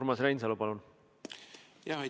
Urmas Reinsalu, palun!